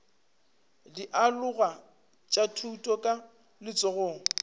dialoga tša thuto ka letsogong